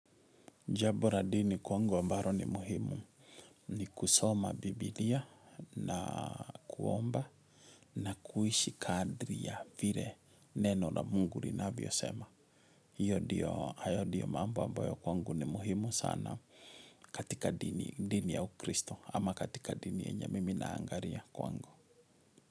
Jabo ra dini kwangu ambaro ni muhimu ni kusoma Bibilia na kuomba na kuishi kadri ya vire neno la mungu rinavyo sema. Hayo ndiyo mambo ambayo kwangu ni muhimu sana katika dini ya ukristo ama katika dini yenye mimi naangaria kwangu.